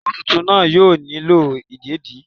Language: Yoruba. Omo túntún naa yóò nílo ìdédi